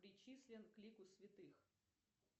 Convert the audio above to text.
причислен к лику святых